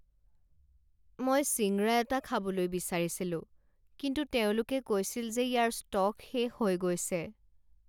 মই ছিংৰা এটা খাবলৈ বিচাৰিছিলো কিন্তু তেওঁলোকে কৈছিল যে ইয়াৰ ষ্টক শেষ হৈ গৈছে।